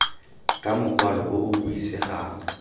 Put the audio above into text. ka mokwalo o o buisegang